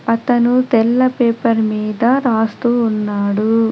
అతను తెల్ల పేపర్ మీద రాస్తూ ఉన్నాడు.